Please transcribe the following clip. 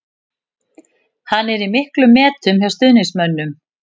Hann er í miklum metum hjá stuðningsmönnum.